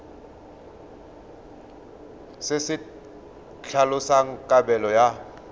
se se tlhalosang kabelo ya